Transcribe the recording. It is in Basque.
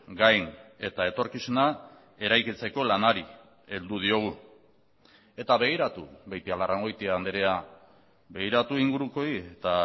gain eta etorkizuna eraikitzeko lanari heldu diogu eta begiratu beitialarrangoitia andrea begiratu ingurukoei eta